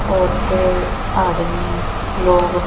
औरतें आदमी लोग--